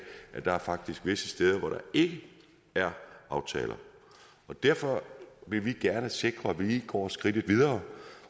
at der faktisk er visse steder hvor der ikke er aftaler og derfor vil vi gerne sikre at vi lige går skridtet videre